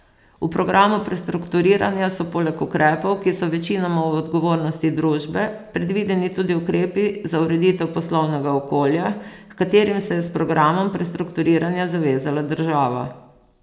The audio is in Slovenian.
V programu prestrukturiranja so poleg ukrepov, ki so večinoma v odgovornosti družbe, predvideni tudi ukrepi za ureditev poslovnega okolja, h katerim se je s programom prestrukturiranja zavezala država.